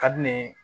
Ka di ne ye